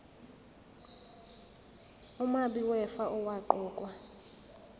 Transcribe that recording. umabi wefa owaqokwa